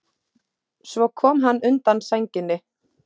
Svo kom hann undan sænginni.